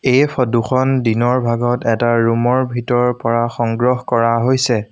এই ফটোখন দিনৰ ভাগত এটা ৰুমৰ ভিতৰৰ পৰা সংগ্ৰহ কৰা হৈছে।